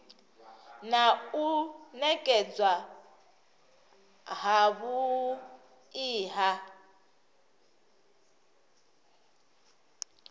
na u nekedzwa havhui ha